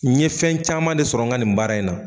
N ye fɛn caman de sɔrɔ n ka nin baara in na